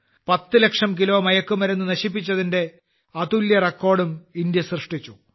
10 ലക്ഷം കിലോ മയക്കുമരുന്ന് നശിപ്പിച്ചതിന്റെ അതുല്യ റെക്കോർഡും ഇന്ത്യ സൃഷ്ടിച്ചു